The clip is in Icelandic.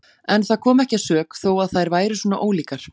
En það kom ekki að sök þó að þær væru svona ólíkar.